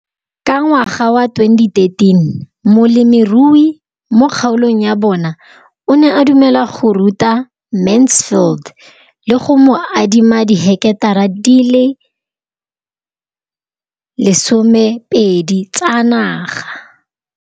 Ka ngwaga wa 2013, molemirui mo kgaolong ya bona o ne a dumela go ruta Mansfield le go mo adima di heketara di le 12 tsa naga.